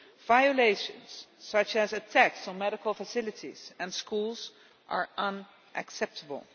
Violations, such as attacks on medical facilities and schools, are unacceptable.